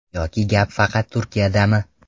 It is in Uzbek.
Yoki gap faqat Turkiyadami?